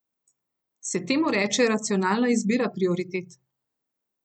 Se temu reče racionalna izbira prioritet?